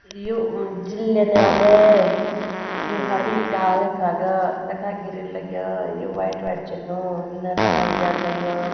यु जिला न्यायालय यु हरी डाल यखा का तखा गिरिल लग्यां यु वाइट -वाइट चुन्नू इना-तन्ना गेट लाग्यां।